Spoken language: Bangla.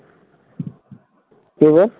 কে গো,